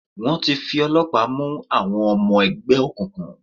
Wọ́n ti fi ọlọ́pàá mú àwọn ọmọ ẹgbẹ́ òkùnkùn.